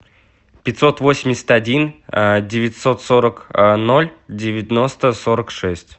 пятьсот восемьдесят один девятьсот сорок ноль девяносто сорок шесть